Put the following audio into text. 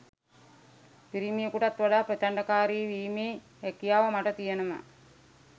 පිරිමියෙකුටත් වඩා ප්‍රචණ්ඩකාරී වීමේ හැකියාව මට තියෙනවා